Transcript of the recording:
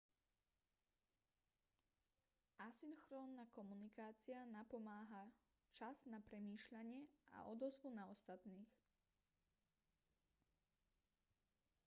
asynchrónna komunikácia napomáha čas na premýšľanie a odozvu na ostatných